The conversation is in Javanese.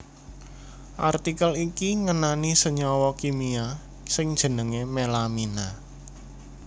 Artikel iki ngenani senyawa kimia sing jenengé melamina